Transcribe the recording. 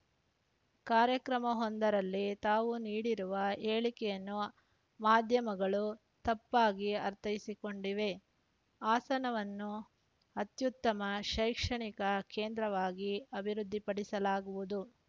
ಕಾರ್ಯಕ್ರಮವೊಂದರಲ್ಲಿ ತಾವು ನೀಡಿರುವ ಹೇಳಿಕೆಯನ್ನು ಮಾಧ್ಯಮಗಳು ತಪ್ಪಾಗಿ ಅರ್ಥೈಸಿಕೊಂಡಿವೆ ಹಾಸನವನ್ನು ಅತ್ಯುತ್ತಮ ಶೈಕ್ಷಣಿಕ ಕೇಂದ್ರವಾಗಿ ಅಭಿವೃದ್ಧಿ ಪಡಿಸಲಾಗುವುದು